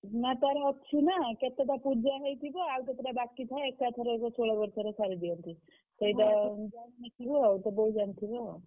ନା ତାର ଅଛି ନା କେତେଟା ପୁଜା ହେଇଥିବ ଆଉ କେତେଟା ବାକି ଥାଏ ଏକାଥରେ ଷୋଳ ବର୍ଷ ରେ ସାରି ଦିଅନ୍ତି ସେଇଟା ତୁ ଜାଣି ନଥିବୁ ଆଉ ତୋ ବୋଉ ଜାଣି ଥିବେ ଆଉ।